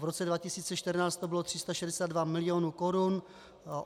V roce 2014 to bylo 362 milionů korun.